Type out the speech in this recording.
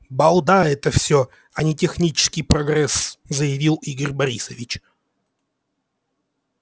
балда это всё а не технический прогресс заявил игорь борисович